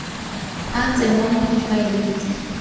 a tsenngwa mo difaeleng tse